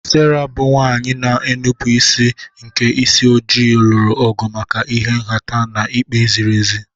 Sera, bụ́ nwanyị na-enupụ isi nke isi ojii, lụrụ ọgụ maka ịha nhata na ikpe ziri ezi.